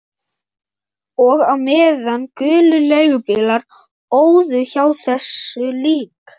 Og á meðan gulir leigubílar óðu hjá þessu lík